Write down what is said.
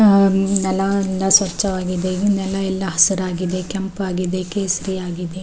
ಹ ನೆಲ ಎಲ್ಲ ಸ್ವಚ್ಛವಾಗಿದೆ ನೆಲ ಎಲ್ಲ ಹಸುರಾಗಿದೆ ಕೆಂಪಾಗಿದೆ ಕೇಸರಿಯಾಗಿದೆ.